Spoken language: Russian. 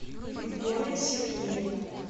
виктория сергеевна